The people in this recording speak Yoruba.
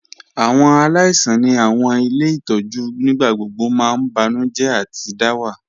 Awọn aláìsàn ni awọn ilẹ̀ itọju nígbàgbọ̀gbọ̀ mà n bànújẹ̀ àti dàwà.